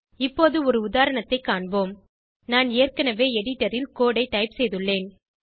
இப்போது ஒரு உதாரணத்தை காண்போம் நான் ஏற்கனவே எடிட்டர் ல் கோடு ஐ டைப் செய்துள்ளேன்